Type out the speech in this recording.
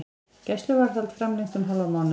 Gæsluvarðhald framlengt um hálfan mánuð